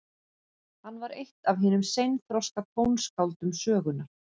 Hann var eitt af hinum seinþroska tónskáldum sögunnar.